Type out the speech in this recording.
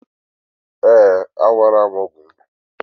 Ee, Aṅụla m ọgwụ m